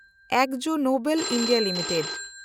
Akzo Nobel India limited